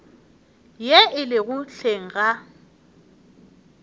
ye e lego hleng ga